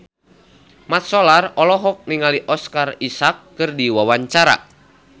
Mat Solar olohok ningali Oscar Isaac keur diwawancara